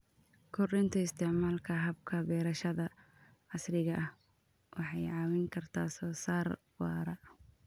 Kordhinta isticmaalka hababka beerashada casriga ah waxay caawin kartaa soo saar waara.